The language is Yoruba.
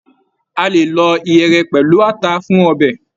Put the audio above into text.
A lè lọ iyere pẹlú ata fún ọbẹ.